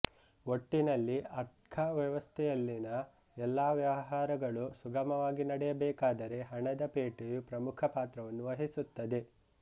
ಒಟ್ಟಿನಲ್ಲಿ ಆರ್ಥ್ಕ ವ್ಯವಸ್ಥೆಯಲ್ಲಿನ ಎಲ್ಲಾ ವ್ಯವಹಾರಗಳು ಸುಗಮವಾಗಿ ನಡೆಯಬೇಕಾದರೆ ಹಣದ ಪೇಟೆಯು ಪ್ರಮುಖ ಪಾತ್ರವನ್ನು ವಹಿಸುತ್ತದೆ